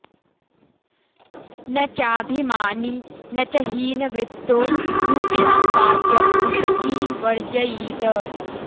न चाभिमानी न च हीनवृत्तो रूक्षां वाचं रुशतीं वर्जयीत